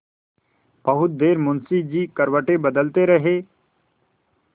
बहुत देर मुंशी जी करवटें बदलते रहे